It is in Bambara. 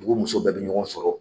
Dugu muso bɛɛ bi ɲɔgɔn sɔrɔ